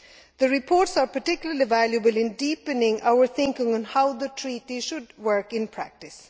The reports are particularly valuable in deepening our thinking on how the Treaty should work in practice.